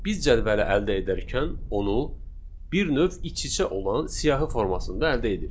Biz cədvələ əldə edərkən onu bir növ iç-içə olan siyahı formasında əldə edirik.